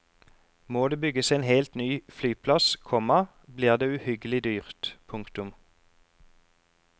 Må det bygges en helt ny flyplass, komma blir det uhyggelig dyrt. punktum